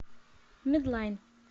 медлайн